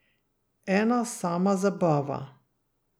Ena sama zabava.